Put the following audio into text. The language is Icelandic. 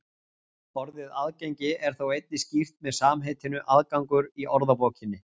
Orðið aðgengi er þó einnig skýrt með samheitinu aðgangur í orðabókinni.